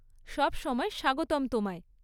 সবসময় স্বাগতম তোমায়।